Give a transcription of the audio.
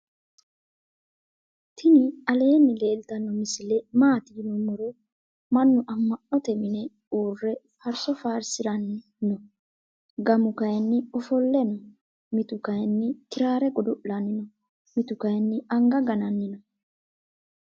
tini alenni leltano misile maati yinumoro. manu ama'note minne ure farso farsirani noo. gamu kayinni ofole noo. mittu kayinni kirare godo'lanni noo. mittu kayini anga gannani noo.